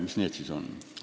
Mis see siis on?